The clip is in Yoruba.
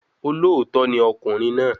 Olóòótọ́ ni ọkùnrin náà